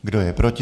Kdo je proti?